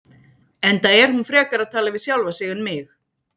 Enda er hún frekar að tala við sjálfa sig en mig.